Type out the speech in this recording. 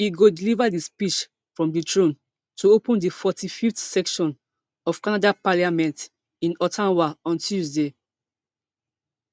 e go deliver di speech from di throne to open di forty-fiveth session of canada parliament in ottawa on tuesday